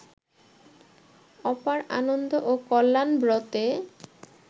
অপার আনন্দ ও কল্যাণব্রতে